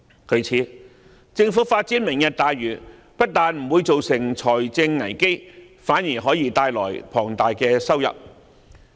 故此，政府發展"明日大嶼"不單不會造成財政危機，反而可以帶來龐大收入。